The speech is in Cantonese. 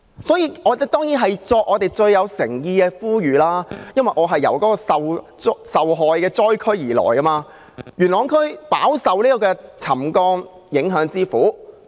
所以，我當然要作出最具誠意的呼籲，因為我來自受害災區，元朗區飽受沉降影響之苦。